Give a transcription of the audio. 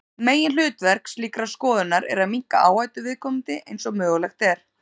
Meginhlutverk slíkrar skoðunar er að minnka áhættu viðkomandi eins og mögulegt er.